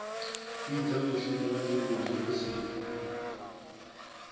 fhidza mushumoni lunzhi hu si